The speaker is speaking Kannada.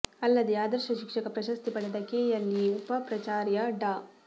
ಅಲ್ಲದೆ ಆದರ್ಶ ಶಿಕ್ಷಕ ಪ್ರಶಸ್ತಿ ಪಡೆದ ಕೆಎಲ್ಇ ಉಪ ಪ್ರಾಚಾರ್ಯ ಡಾ